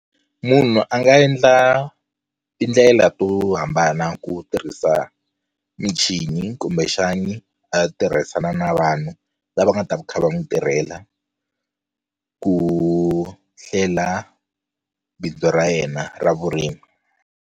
Munhu a nga endla tindlela to hambana ku tirhisa michini kumbexani a tirhisana na vanhu lava nga ta va kha va n'wi tirhela ku hlela bindzu ra yena ra vurimi.